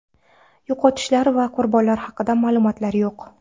Yo‘qotishlar va qurbonlar haqida ma’lumotlar yo‘q.